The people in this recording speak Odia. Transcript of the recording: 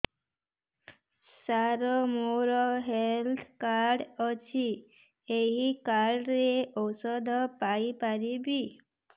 ସାର ମୋର ହେଲ୍ଥ କାର୍ଡ ଅଛି ଏହି କାର୍ଡ ରେ ଔଷଧ ପାଇପାରିବି